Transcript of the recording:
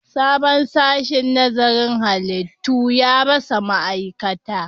Sabon sashen nazarin halittu ya rasa ma'aikata